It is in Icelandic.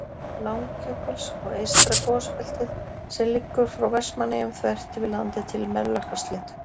Langjökuls, og eystra gosbeltið, sem liggur frá Vestmannaeyjum þvert yfir landið til Melrakkasléttu.